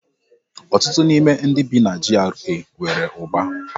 Ọtụtụ n'ime ndị bi na GRA nwere ụba.